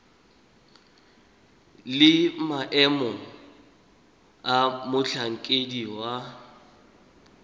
le maemo a motlhankedi wa